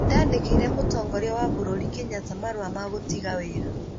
Nĩ ndandĩkĩire mũtongoria wa bũrũri, Kenyatta, marũa ma gũtiga wĩra.